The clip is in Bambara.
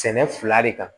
Sɛnɛ fila de kan